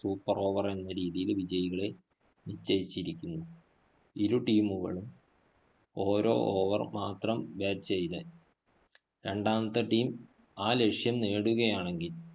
super over എന്ന രീതിയില്‍ വിജയികളെ നിശ്ചയിച്ചിരിക്കുന്നു. ഇരു team കളും ഓരോ over മാത്രം bat ചെയ്ത്, രണ്ടാമത്തെ team ആ ലക്ഷ്യം നേടുകയാണെങ്കില്‍